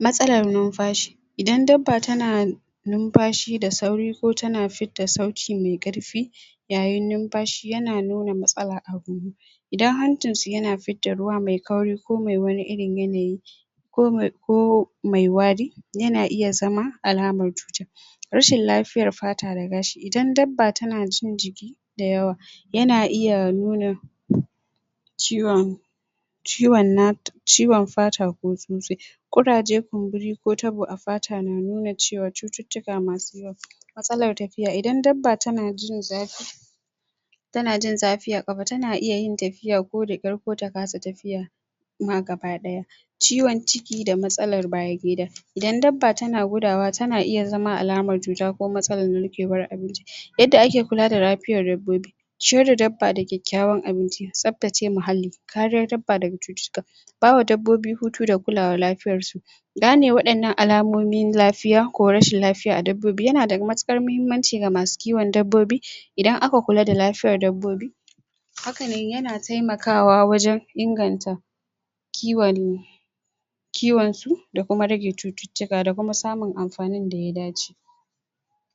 matsalar numfashi Idan dabba tana numfashi da sauri ko tana fidda sauti mai karfi yayin numfashi yana nuna matsala a?? Idan hancinsu yana fidda ruwa mai kauri ko me wani irin yanayi komai ko mai wari yana iya zama alamar cuta rashin lafiyar fata da gashi Idan dabba tana jin jiki dayawa yana iya nuna ciwon ciwon ciwon fata ko? Kuraje, kumburi ko tabo a fata na nuna cewa cututtuka masu yawa. Matsalar tafiya, Idan dabba tana jin zafi tana jin zafi a kafa tana yin tafiya da kyar ko ta kasa tafiya ma gabadaya Ciwon ciki da matsalar bayan Gida Idan dabba tana gudawa tana iya zama alamar cuta ko matsalar narkewan abinci. Yanda ake kulada lafiyar dabbobi ciyarda dabba da kyakkyawan abinci, tsaftace dabba, kariyar dabba daga cututtuka, bawa dabbobi hutu da kulada lafiyarsu gane wadannan alamomin lafiya ko rashin lafiya a dabbobi yanada matuƙar mahimmanci ga masu kiwon dabbobi Idan aka kulada lafiyar dabbobi hakan yana taimakawa wajen inganta kiwon da Kuma rage cutuka da Kuma samun Anfanin da ya dace